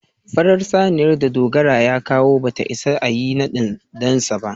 farar saniyar da Dogara ya kawo ba za ta ias a Yi nadin dansa ba.